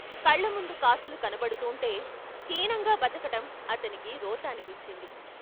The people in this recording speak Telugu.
కళ్ళ ముందు కాసులు కనబడుతూంటే హీనంగా బతకటం అతనికి రోత అనిపించింది.